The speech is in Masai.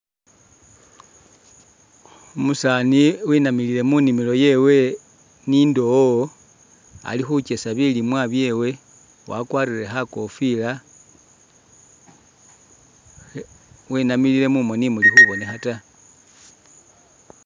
Umusaani wenamilile munimilo yewe ni indoowo ali khukesa bilimwa byeewe wakwarire kha'kofiila khe, wenamilile mumooni imuli khubonekha ta.